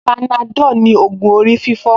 Panadol ni ògùn orí fífọ́